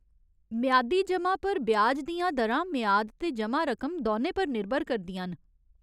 मेआदी जमा पर ब्याज दियां दरां मेआद ते जमा रकम दौनें पर निर्भर करदियां न।